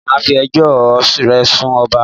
Mà a fi ẹjọ́ ò re sun ọba